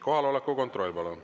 Kohaloleku kontroll, palun.